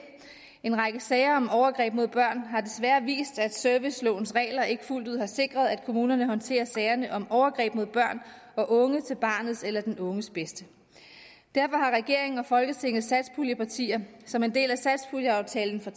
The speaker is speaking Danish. en række sager om overgreb mod børn har desværre vist at servicelovens regler ikke fuldt ud har sikret at kommunerne håndterer sagerne om overgreb mod børn og unge til barnets eller den unges bedste derfor har regeringen og folketingets satspuljepartier som en del af satspuljeaftalen for